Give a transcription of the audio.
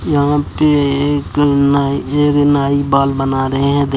यहाँ पे एक नाई ये भी नाई बाल बना रहें हैं। दे --